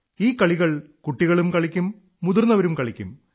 ഈ കളികൾ കുട്ടികളും കളിക്കും മുതിർന്നവരും കളിക്കും